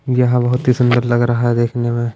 यहा बहोत ही सुंदर लग रहा है देखने में--